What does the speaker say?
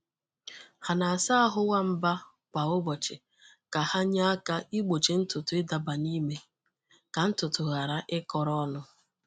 Ha na-asa ahụ nwamba kwa ụbọchị ka ha nye aka igbochi ntutu ịdaba na ime ka ntutu ghara ịkọrọ ọnụ.